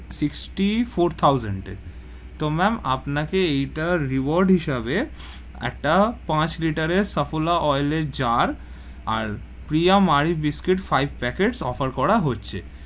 Sixty-four thousand এর, তো ma'am আপনাকে এইটা reward হিসাবে একটা পাঁচ liter এর সাফওলা oil এর জার্, আর একটা Priya Marie biscuit five packet offer করা হচ্ছে।